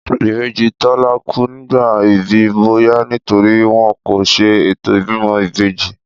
Ìbejí Tólá kú nígbà ìbí, bóyá nítorípé wón kò se ètò ìbímọ ìbejí